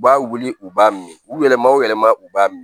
U b'a wuli u b'a min u yɛlɛma o yɛlɛma u b'a min